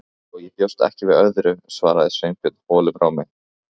Já, ég bjóst ekki við öðru- svaraði Sveinbjörn holum rómi.